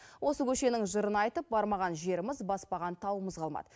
осы көшенің жырын айтып бармаған жеріміз баспаған тауымыз қалмады